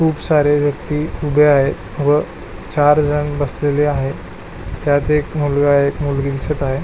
खुप सारे व्यक्ति उभे आहे व चार जण बसलेले आहे त्यात एक मुलगा व मुलगी दिसत आहे.